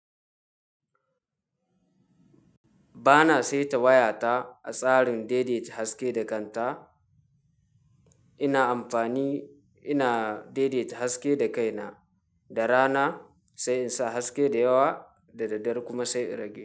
Ba na saita wayata a tsarin daidaita haske da kanta. Ina amfani, ina deedet haske da kaina da rana sai in sa haske da yawa, da daddare kuma sai inrage.